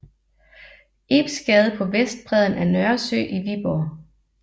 Ibs Gade på vestbredden af Nørresø i Viborg